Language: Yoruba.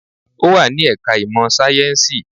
Ó wà ní ẹ̀ka ìmọ̀ sáyẹ́ǹsì